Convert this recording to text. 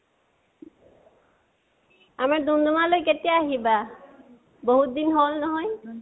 আৰু, ডুম্ডুমালৈ কেতিয়া আহিবা? বহুত দিন হল নহয়